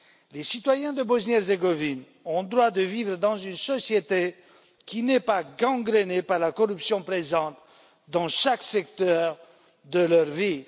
Les citoyens de Bosnie Herzégovine ont le droit de vivre dans une société qui n'est pas gangrenée par la corruption présente dans chaque secteur de leur vie.